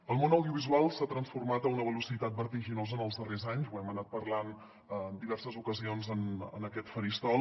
el món audiovisual s’ha transformat a una velocitat vertiginosa en els darrers anys ho hem anat parlant en diverses ocasions en aquest faristol